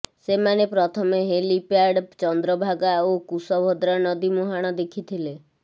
ସେମାନେ ପ୍ରଥମେ ହେଲିପ୍ୟାଡ୍ ଚନ୍ଦ୍ରଭାଗା ଓ କୁଶଭଦ୍ରା ନଦୀ ମୁହାଣ ଦେଖିଥିଲେ